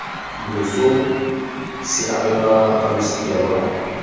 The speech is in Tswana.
loso se abelwa balosika lwa